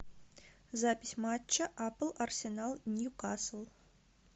запись матча апл арсенал ньюкасл